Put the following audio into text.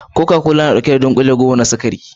Koka kola yana ɗauke da kusan dunkule goma na sukari